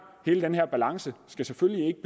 hele den her balancegang selvfølgelig ikke